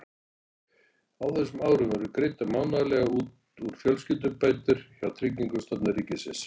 Á þessum árum voru greiddar mánaðarlega út fjölskyldubætur hjá Tryggingastofnun ríkisins.